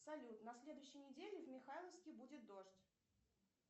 салют на следующей неделе в михайловске будет дождь